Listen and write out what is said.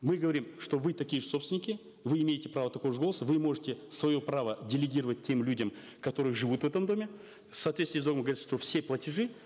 мы говорим что вы такие же собственники вы имеете право такого же голоса вы можете свое право делегировать тем людям которые живут в этом доме в соответствии все платежи